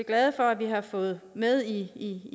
glade for at vi har fået med i